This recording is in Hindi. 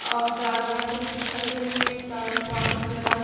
और गाड़ियां भी खड़ी हुई हैं लगा--